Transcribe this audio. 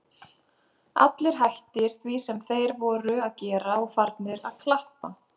Allir hættir því sem þeir voru að gera og farnir að klappa.